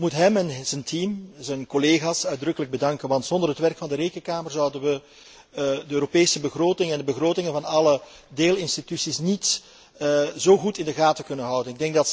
Ik wil hem en zijn team, zijn collega's, uitdrukkelijk bedanken, want zonder het werk van de Rekenkamer zouden wij de Europese begroting en de begrotingen van alle deelinstituties niet zo goed in de gaten kunnen houden.